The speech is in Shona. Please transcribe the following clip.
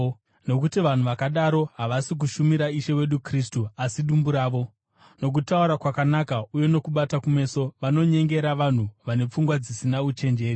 Nokuti vanhu vakadaro havasi kushumira Ishe wedu Kristu, asi dumbu ravo. Nokutaura kwakanaka uye nokubata kumeso, vanonyengera vanhu vane pfungwa dzisina uchenjeri.